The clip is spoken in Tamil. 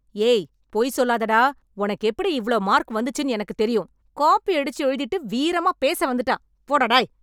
ஏய் பொய் சொல்லாதடா.... ஒனக்கு எப்டி இவ்ளோ மார்க் வந்துச்சுன்னு எனக்கு தெரியும். காப்பியடிச்சு எழுதிட்டு வீரமா பேச வந்துட்டான். போடா டேய்.